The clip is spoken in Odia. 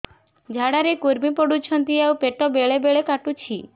ଝାଡା ରେ କୁର୍ମି ପଡୁଛନ୍ତି ଆଉ ପେଟ ବେଳେ ବେଳେ କାଟୁଛି